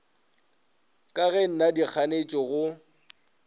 ga ke na dikganetšo go